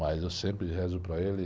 Mas eu sempre rezo para ele e...